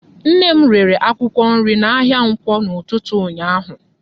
Nne m rere akwụkwọ nri n'ahịa Nkwọ n'ụtụtụ ụnyaahụ.